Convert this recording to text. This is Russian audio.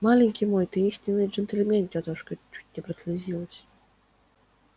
маленький мой ты истинный джентльмен тётушка чуть не прослезилась